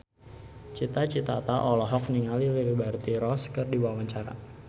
Cita Citata olohok ningali Liberty Ross keur diwawancara